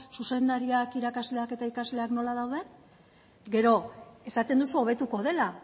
zuzendariak irakasleak eta ikasleak nola dauden gero esaten duzu hobetuko dela